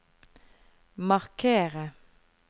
markere